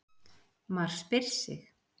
MAR SPYR SIG!